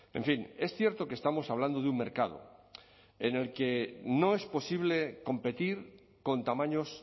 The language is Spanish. en fin es cierto que estamos hablando de un mercado en el que no es posible competir con tamaños